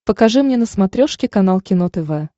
покажи мне на смотрешке канал кино тв